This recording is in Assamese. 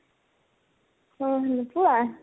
অ, নোপোৱা ?